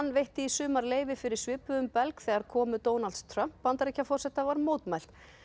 veitti í sumar leyfi fyrir svipuðum belg þegar komu Donalds Trump Bandaríkjaforseta var mótmælt